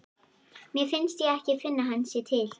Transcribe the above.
Mér finnst ég ekki finna að hann sé til.